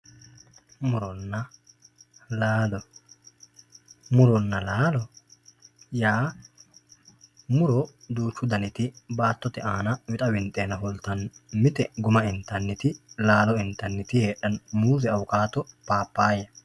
Muronna laalo muronna laalo yaa muro duuchu daniti baatote aana wixa winxeena fultano mitte guma intaniti laalo intaniti muuze awukatto papaya.